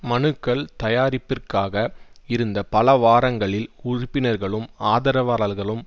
மனுக்கள் தயாரிப்பிற்காக இருந்த பல வாரங்களில் உறுப்பினர்களும் ஆதரவாளர்களும்